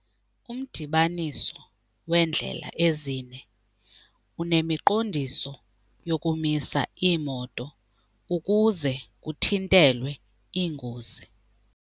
Umdibaniso weendlela ezine unemiqondiso yokumisa iimoto ukuze kuthintelwe iingozi.